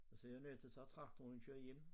Og så jeg nødt til at tage traktoren og køre hjem